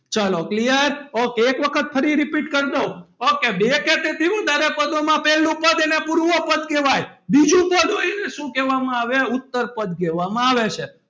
ચલો clear ok એક વખત ફરીથી repeat કર દઉં okay બે કે તેથી વધારે પદોમાં પહેલું પદને પૂર્વપદ કહેવાય બીજું પદ હોય એને શું કહેવામાં આવે ઉતરપદ કહેવામાં આવે છે.